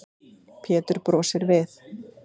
Pétur brosir við.